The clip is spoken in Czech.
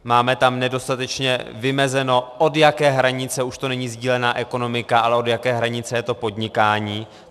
Máme tam nedostatečně vymezeno, od jaké hranice už to není sdílená ekonomika, ale od jaké hranice je to podnikání.